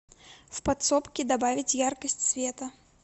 в подсобке добавить яркость света